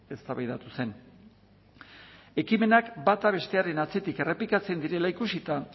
eztabaidatu zen ekimenak bata bestearen atzetik errepikatzen direla ikusita